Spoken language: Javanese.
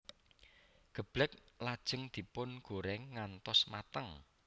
Geblèk lajeng dipun goreng ngantos mateng